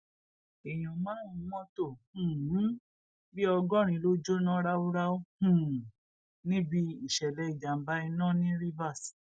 èèyàn márùnún mọtò um bíi ọgọrin ló jóná ráúráú um níbi ìṣẹlẹ ìjàmbá iná ní rivers